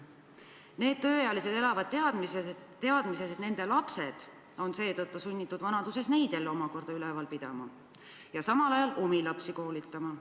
Need tööealised inimesed elavad teadmises, et nende lapsed on seetõttu sunnitud vanaduses omakorda neid üleval pidama ja samal ajal omi lapsi koolitama.